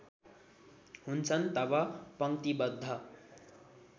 हुन्छन् तब पंक्तिबद्ध